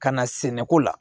Ka na sɛnɛko la